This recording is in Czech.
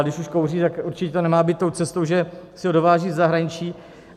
Ale když už kouří, tak určitě to nemá být tou cestou, že si ho dováží ze zahraničí.